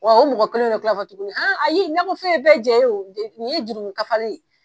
Ɔ o mɔgɔ kelen de kila ka f'ɔ tugunni, a ayi nakɔ fɛn ye bɛɛ jɛn ye nin ye jurumun kafari ye.